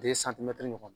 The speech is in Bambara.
ɲɔgɔn